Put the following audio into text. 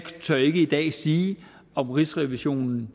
tør ikke i dag sige om rigsrevisionen